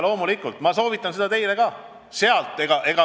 Loomulikult soovitan ma seda ka teile.